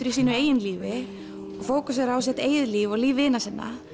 í sínu eigin lífi og fókusera á sitt eigið líf og líf vina sinna